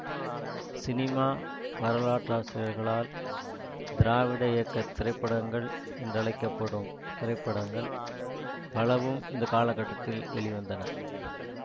cinema வரலாற்றாசிரியர்களால் திராவிட இயக்க திரைப்படங்கள் என்றழைக்க படும் திரைப்படங்கள் பலவும் இந்த காலகட்டத்தில் வெளிவந்தன